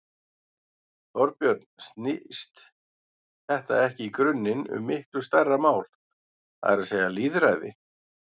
Þorbjörn: Snýst þetta ekki í grunninn um miklu stærra mál, það er að segja lýðræði?